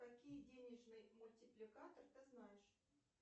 какие денежные мультипликатор ты знаешь